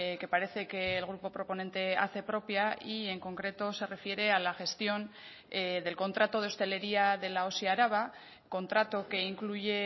que parece que el grupo proponente hace propia y en concreto se refiere a la gestión del contrato de hostelería de la osi araba contrato que incluye